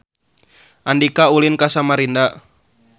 Andika ulin ka Samarinda